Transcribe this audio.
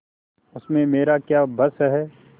उसमें मेरा क्या बस है